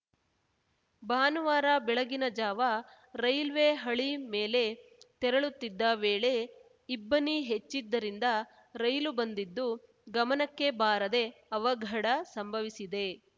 ಭಾನುವಾರ ಬೆಳಗಿನ ಜಾವ ರೈಲ್ವೆ ಹಳಿ ಮೇಲೆ ತೆರಳುತ್ತಿದ್ದ ವೇಳೆ ಇಬ್ಬನಿ ಹೆಚ್ಚಿದ್ದರಿಂದ ರೈಲು ಬಂದಿದ್ದು ಗಮನಕ್ಕೆ ಬಾರದೇ ಅವಘಡ ಸಂಭವಿಸಿದೆ